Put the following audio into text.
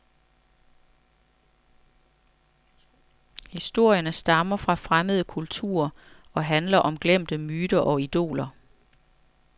Historierne stammer fra fremmede kulturer og handler om glemte myter og idoler.